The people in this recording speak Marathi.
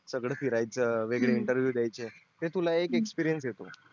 सगळ फिरायच वेगवेगळे interview द्यायचे ते तुला एक experience येतो